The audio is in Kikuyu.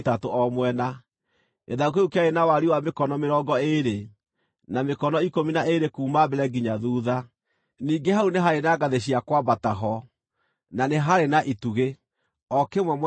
Gĩthaku kĩu kĩarĩ na wariĩ wa mĩkono mĩrongo ĩĩrĩ, na mĩkono ikũmi na ĩĩrĩ kuuma mbere nginya thuutha. Ningĩ hau nĩ haarĩ na ngathĩ cia kwambata ho, na nĩ haarĩ na itugĩ, o kĩmwe mwena ũmwe wa itingĩ icio.